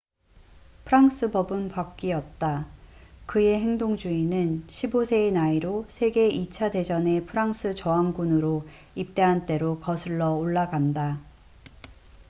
프랑스 법은 바뀌었다 그의 행동주의는 15세의 나이로 세계 2차 대전에 프랑스 저항군으로 입대한 때로 거슬러 올라간다